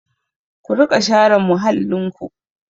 Ku riƙa share muhallinku!